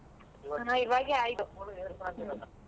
ಹ ಇವಾಗೆ ಆಯ್ತು .